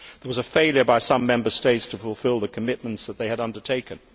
There was a failure by some Member States to fulfil the commitments that they had undertaken.